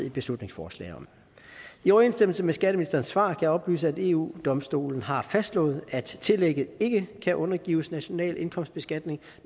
et beslutningsforslag om i overensstemmelse med skatteministerens svar jeg oplyse at eu domstolen har fastslået at tillægget ikke kan undergives national indkomstbeskatning